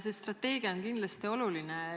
See strateegia on kindlasti oluline.